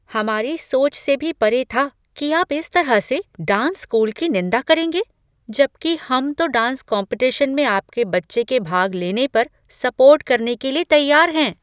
हमारी सोच से भी परे था कि आप इस तरह से डांस स्कूल की निंदा करेंगे जबकि हम तो डांस कॉम्पेटिशन में आपके बच्चे के भाग लेने पर सपोर्ट करने के लिए तैयार हैं।